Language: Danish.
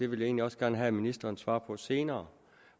vil egentlig også gerne have ministerens svar på senere